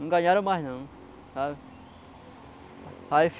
Não ganharam mais não, sabe? Aí